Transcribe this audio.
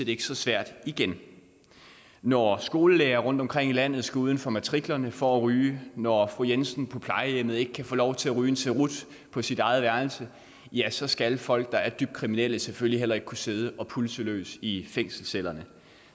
ikke så svært igen når skolelærere rundtomkring i landet skal uden for matriklen for at ryge når fru jensen på plejehjemmet ikke kan få lov til at ryge en cerut på sit eget værelse ja så skal folk der er dybt kriminelle selvfølgelig heller ikke kunne sidde og pulse løs i fængselscellerne